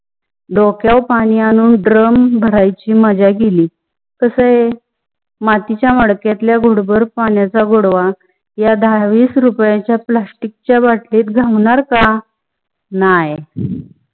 डोक्या वर पानी आणून drum भरायची मजा गेली, कसा मातीच्या मडक्यातल्या घुट भर पन्याच्या गोडवा या दाहा विस रूप्याचा plastic चया bottle त घावणार का? नाही.